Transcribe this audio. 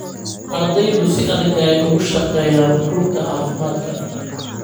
Ardeydu si adag ayey uga shaqeeyaan rugta caafimaadka